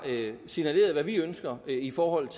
signaleret hvad vi ønsker i forhold